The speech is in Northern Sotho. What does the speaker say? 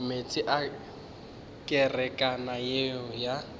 meetse a kerekana yeo ya